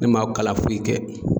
Ne ma kalan foyi kɛ